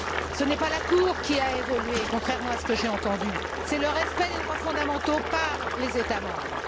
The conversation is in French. Ce n'est pas la Cour qui a évolué, contrairement à ce que j'ai entendu, c'est le respect des droits fondamentaux par les États membres.